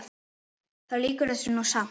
Þá lýkur þessu nú samt.